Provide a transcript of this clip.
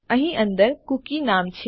અહીં અંદર કુકી નું નામ છે